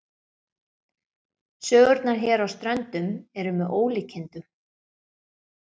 Sögurnar hér á Ströndum eru með ólíkindum.